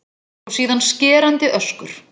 Og síðan skerandi öskur.